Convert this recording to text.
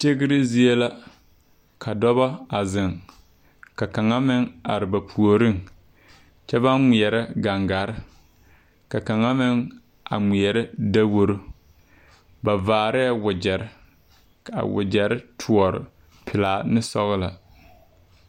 Tigre zie la ka dɔbɔ a zeŋ ka kaŋa meŋ are puoriŋ kyɛ baŋ ngmeɛrɛ gaŋgare ka kaŋa meŋ a ngmeɛrɛ daworo ba vaarɛɛ wogyerre kaa wogyɛrre toɔre pilaa ne sɔglɔ.